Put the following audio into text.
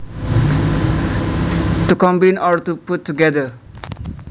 To combine or to put together